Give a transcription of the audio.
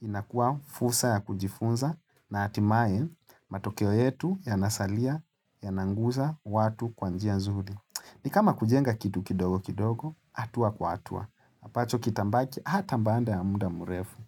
inakuwa fulsa ya kujifunza na hatimae matokeo yetu ya nasalia ya nanguza watu kwanjia zuri. Ni kama kujenga kitu kidogo kidogo, hatua kwa hatua. Apacho kitambaki, hata mbanda ya muda murefu.